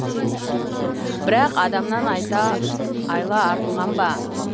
бірақ адамнан айла артылған ба